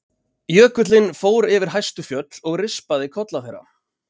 Jökullinn fór yfir hæstu fjöll og rispaði kolla þeirra.